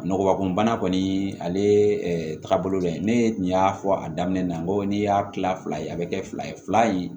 Nɔgɔ kun bana kɔni ale ye taabolo dɔ ye ne tun y'a fɔ a daminɛ na n ko n'i y'a kila fila ye a be kɛ fila ye fila ye